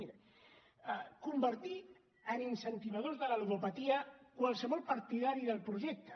miri convertir en incentivadors de la ludopatia qualsevol partidari del projecte